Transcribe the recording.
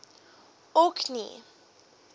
orkney